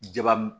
Jaban